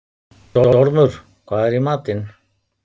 Stormur, hvað er í matinn?